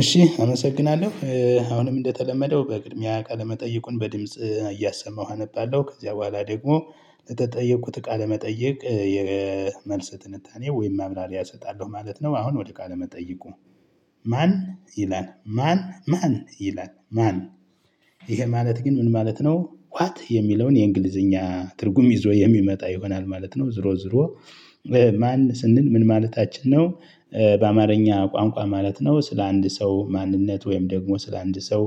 እሺ አመሰግናለሁ አሁንም እንደተለመደው በቅድምያ ቃለ መጠየቁን በድምጽ እያሰማሁ አነባለሁ ከዚያ በኋላ ደግሞ ለተጠየቁት ቃለ መጠየቅ የመልስ ጥንታኔ ወይም ማምራሪያ እሰጣለሁ ማለት ነው። አሁን ወደ ቃለ መጠይቁ? ማን ይላል ማን ማን ይላል ማን? ይሄ ማለት ግን ምን ማለት ነው ዋት የሚለውን የእንግሊዝኛ ትርጉም ይዞ የሚመጣ ይሆናል ማለት ነው ዞሮ ዞሮ ማን ስንል ምን ማለታችን ነው። በአማርኛ ቋንቋ ማለት ነው ስለ አንድ ሰው ማንነት ወይም ደግሞ ስለ አንድ ሰው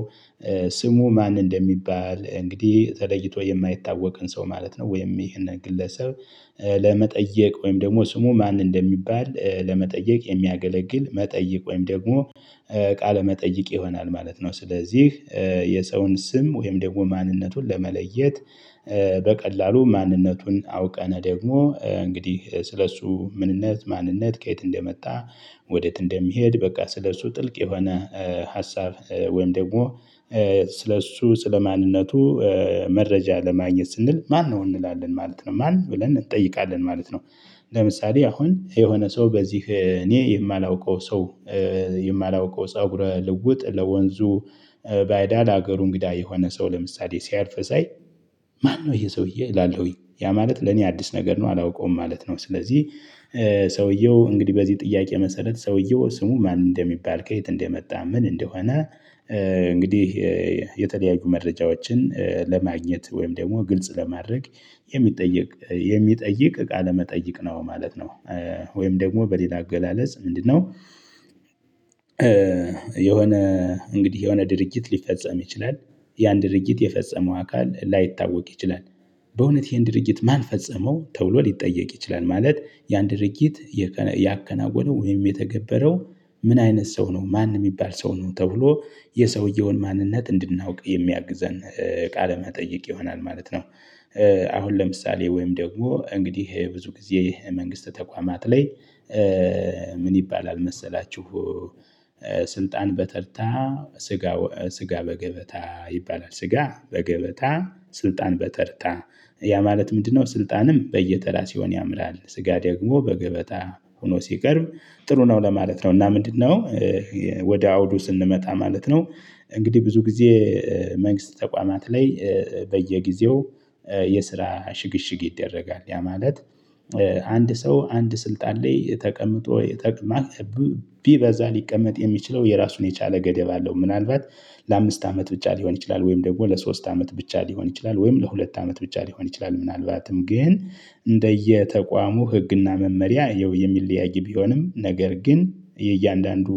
ስሙ ማን እንደሚባል እንግዲህ ተለይቶ የማይታወቅን ሰው ማለት ነው ወይም ይሄንን ግለሰብ። ለመጠየቅ ወይም ደግሞ ስሙ ማን እንደሚባል ለመጠየቅ የሚያገለግል መጠይቅ ወይም ደግሞ ቃለ መጠይቅ ይሆናል ማለት ነው። ስለዚህ የሰውን ስም ወይም ደግሞ ማንነቱን ለመለየት። በቀላሉ ማንነቱን አውቀነ ደግሞ እንግዲህ ስለእሱ ምንነት ማንነት ከየት እንደመጣ። ወዴት እንደሚሄድ በቃ ስለእሱ ጥልቅ የሆነ ሀሳብ ወይም ደግሞ ስለ እሱ ስለማንነቱ። መረጃ ለማግኘት ስንል ማነው እንላለን ማለት ነው ማን ብለን እንጠይቃለን ማለት ነው። ለምሳሌ አሁን የሆነ ሰው በዚህ እኔ የማላውቀው ሰው። የማላውቀው ፀጉረ ልውጥ ለወንዙ ባዕዳ ሀገሩ እንግዳ የሆነ ሰው ለምሳሌ ሲያልፍ ሳይ። ማነው ይሄ ሰውዬ እላለሁኝ ያ ማለት ለኔ አዲስ ነገር ነው አላውቀውም ማለት ነው። ስለዚህ ሰውየው እንግዲህ በዚህ ጥያቄ መሰረት ሰውየው ስሙ ማን እንደሚባል ከየት እንደመጣ ምን እንደሆነ። እንግዲህ የተለያዩ መረጃዎችን ለማግኘት ወይም ደግሞ ግልጽ ለማድረግ የሚጠይቅ የሚጠይቅ ቃለ መጠይቅ ነው ማለት ነው። ወይም ደግሞ በሌላ አገላለጽ ምንድነው? የሆነ እንግዲህ የሆነ ድርጅት ሊፈጸም ይችላል። ያን ድርጅት የፈጸመው አካል ላይታወቅ ይችላል። በእውነት ይሄን ድርጊት ማን ፈጸመው ተብሎ ሊጠየቅ ይችላል። ማለት ያን ድርጊት ያከናወነው ወይም የተገበረው ምን አይነት ሰው ነው ማን እሚባል ሰው ነው ተብሎ የሰውየውን ማንነት እንድናውቅ የሚያግዘን ቃለ መጠየቅ ይሆናል ማለት ነው። አሁን ለምሳሌ ወይም ደግሞ እንግዲህ ይሄ ብዙ ጊዜ መንግስት ተቋማት ላይ ምን ይባላል መሰላችሁ? ስልጣን በተርታ ስጋ ስጋ በገበታ ይባላል ስጋ በገበታ ስልጣን በተርታ ያ ማለት ምንድነው? ስልጣንም በየተራ ሲሆን ያምራል ስጋ ደግሞ በገበታ ሁኖ ሲቀርብ ጥሩ ነው ለማለት ነው። እና ምንድነው? ወደ አውዱ ስንመጣ ማለት ነው። እንግዲህ ብዙ ጊዜ መንግስት ተቋማት ላይ በየጊዜው የስራ ሽግሽግ ይደረጋል ያ ማለት። አንድ ሰው አንድ ስልጣን ላይ ተቀምጦ ቢበዛ ሊቀመጥ የሚችለው የራሱን የቻለ ገደብ አለው። ምናልባት ለአምስት አመት ብቻ ሊሆን ይችላል ወይም ደግሞ ለሶስት አመት ብቻ ሊሆን ይችላል ወይም ለሁለት አመት ብቻ ሊሆን ይችላል ምናልባትም ግን እንደየ ተቋሙ ህግና መመሪያ ያው የሚለያይ ቢሆንም ነገር ግን የእያንዳንዱ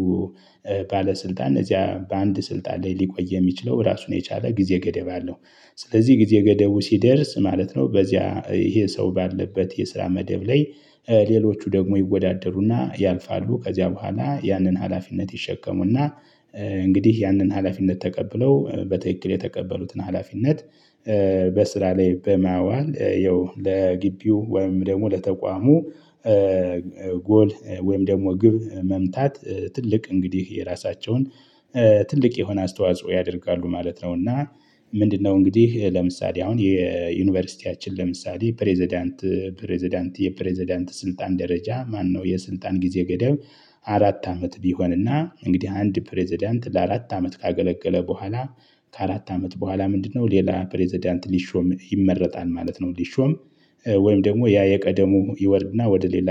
ባለስልጣን እዚያ በአንድ ስልጣን ላይ ሊቆይ የሚችለው ራሱን የቻለ ጊዜ ገደብ አለው። ስለዚህ ጊዜ ገደቡ ሲደርስ ማለት ነው በዚያ ይሄ ሰው ባለበት የስራ መደብ ላይ ሌሎቹ ደግሞ ይወዳደሩና ያልፋሉ ከዚያ በኋላ ያንን ሀላፊነት ይሸከሙና። እንግዲህ ያንን ሀላፊነት ተቀብለው በትክክል የተቀበሉትን ሀላፊነት በስራ ላይ በማዋል ያው ለግቢው ወይም ደግሞ ለተቋሙ ጎል ወይም ደግሞ ግብ መምታት። ትልቅ እንግዲህ የራሳቸውን ትልቅ የሆነ አስተዋጽኦ ያደርጋሉ ማለት ነው። እና ምንድነው? እንግዲህ ለምሳሌ አሁን የዩኒቨርሲቲያችን ለምሳሌ ፕሬዝዳንት ፕሬዝዳንት የፕሬዝዳንት ስልጣን ደረጃ ማነው የስልጣን ጊዜ ገደብ። አራት አመት ቢሆንና እንግዲህ አንድ ፕሬዝዳንት ለአራት አመት ካገለገለ ቡሃላ ከአራት አመት ቡሃላ ምንድነው ሌላ ፕሬዝዳንት ሊሾም ይመረጣል ማለት ነው። ሊሾም ወይም ደግሞ ያ የቀደሙ ይወርድና ወደ ሌላ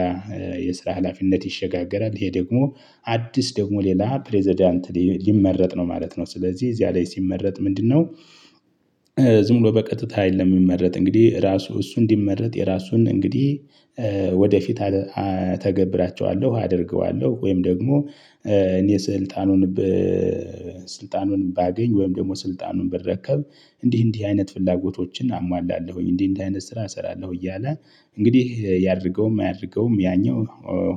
የስራ ሀላፊነት ይሸጋገራል ይሄ ደግሞ አዲስ ደግሞ ሌላ ፕሬዝዳንት ሊመረጥ ነው ማለት ነው። ስለዚህ እዚያ ላይ ሲመረጥ ምንድነው? ዝም ብሎ በቀጥታ አይደለም። የሚመረጥ እንግዲህ ራሱ እሱ እንዲመረት የራሱን እንግዲህ ወደፊት እተገብራቸዋለሁ አደርገዋለሁ ወይም ደግሞ እኔ ስልጣኑን ባገኝ ወይም ደግሞ ስልጣኑን ብረከብ እንዲህ እንዲህ አይነት ፍላጎቶችን አሟላለሁኝ እንዲህ እንዲህ አይነት ስራ እሰራለሁ እያለ እንግዲህ ያድርገውም አያድርገውም ያኛው።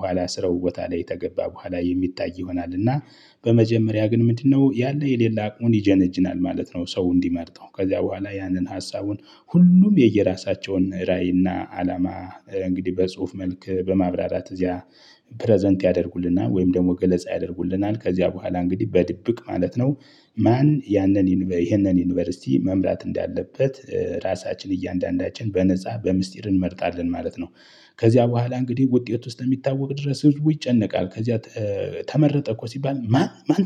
ኋላ ስራው ቦታ ላይ ተገባ በኋላ የሚታይ ይሆናል። እና በመጀመሪያ ግን ምንድነው ያለ የሌለ አቅሙን ይጀነጅናል ማለት ነው። ሰው እንዲመርጠው ከዚያ ቡሃላ ያንን ሀሳቡን ሁሉም የየራሳቸውን ራዕይና አላማ እንግዲህ በጽሁፍ መልክ በማብራራት እዚያ ፕረዘንት ያደርጉልናል ወይም ደግሞ ገለጻ ያደርጉልናል ከዚያ በኋላ እንግዲህ በድብቅ ማለት ነው። ማን ያንን ይሄንን ዩኒቨርሲቲ መምራት እንዳለበት ራሳችን እያንዳንዳችን በነፃ በሚስጥር እንመርጣለን ማለት ነው። ከዚያ በኋላ እንግዲህ ውጤት እስከሚታወቅ ድረስ ህዝቡ ይጨነቃል ከዚያ። ተመረጠ እኮ ሲባል ማን ማን